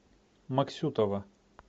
максютова